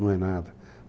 Não é nada.